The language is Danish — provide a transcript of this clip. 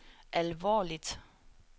alvorligt